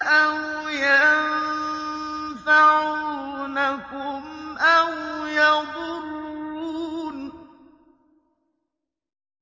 أَوْ يَنفَعُونَكُمْ أَوْ يَضُرُّونَ